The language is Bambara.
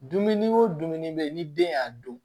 Dumuni o dumuni bɛ yen ni den y'a dun